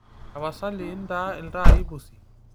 tapasali intaa iltaai pusi